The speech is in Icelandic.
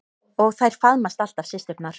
Og þær faðmast alltaf systurnar.